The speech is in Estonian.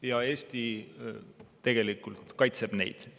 Ja Eesti tegelikult kaitseb neid.